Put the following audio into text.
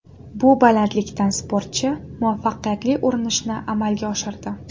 Bu balandlikdan sportchi muvaffaqiyatli urinishni amalga oshirdi.